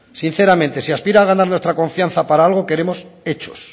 sinceramente si aspira a ganar nuestra confianza para algo queremos hechos